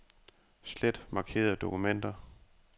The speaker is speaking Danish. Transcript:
Slet markerede dokumenter.